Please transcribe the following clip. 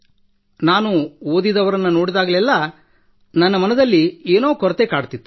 ನಾನು ಓದಿದವರನ್ನು ನೋಡಿದಾಗ ನನ್ನ ಮನದಲ್ಲಿ ಏನೋ ಕೊರತೆ ಕಾಡುತ್ತಿತ್ತು